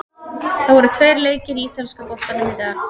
Það voru tveir leikir í ítalska boltanum í dag.